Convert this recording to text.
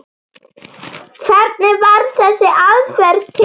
Hvernig varð þessi aðferð til?